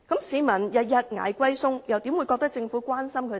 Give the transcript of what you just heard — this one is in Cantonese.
市民天天"捱貴菜"，又怎會認為政府關心他們呢？